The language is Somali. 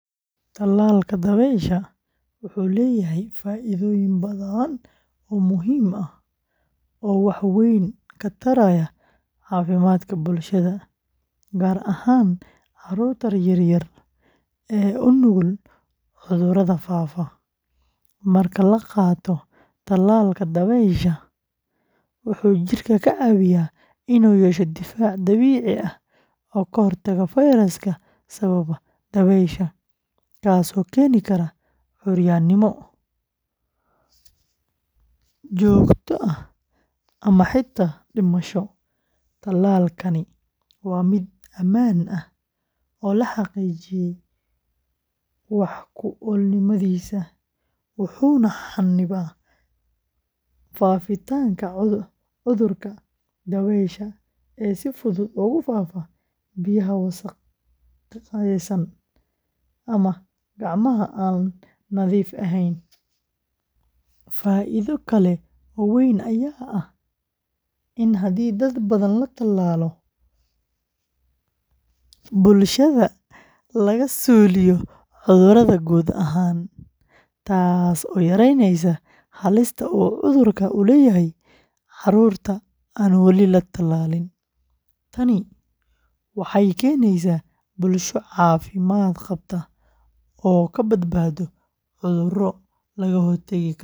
Tallalka dabaysha wuxuu leeyahay faa’iidooyin badan oo muhiim ah oo wax weyn ka taraya caafimaadka bulshada, gaar ahaan carruurta yaryar ee u nugul cudurrada faafa. Marka la qaato tallalka dabaysha, wuxuu jidhka ka caawiyaa in uu yeesho difaac dabiici ah oo ka hortaga fayraska sababa dabaysha, kaasoo keeni kara curyaanimo joogto ah ama xitaa dhimasho. Tallalkani waa mid ammaan ah, oo la xaqiijiyay wax-ku-oolnimadiisa, wuxuuna xannibaa faafitaanka cudurka dabaysha ee si fudud ugu faafa biyaha wasakhaysan ama gacmaha aan nadiifka ahayn. Faa’iido kale oo weyn ayaa ah in haddii dad badan la tallaalo, bulshada laga suuliyo cudurka guud ahaan, taasoo yareynaysa halista uu cudurka u leeyahay carruurta aan wali la tallaalin. Tani waxay keenaysaa bulsho caafimaad qabta oo ka badbaado cudurro laga hortagi karo.